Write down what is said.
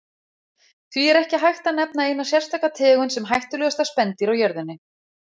Því er ekki hægt að nefna eina sérstaka tegund sem hættulegasta spendýr á jörðinni.